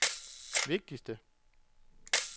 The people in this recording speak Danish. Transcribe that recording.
vigtigste